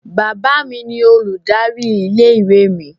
Bàbá mi ni olùdarí ilé-ìwé mi.